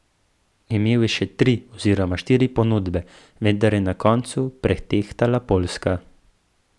Imel je še tri oziroma štiri ponudbe, vendar je na koncu pretehtala poljska.